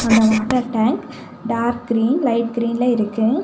அந்த water tank dark green light கிரீன்ல இருக்கு.